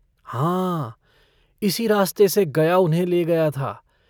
हाँ इसी रास्ते से गया उन्हें ले गया था।